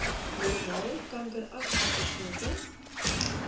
normaal kankeragtige knoppe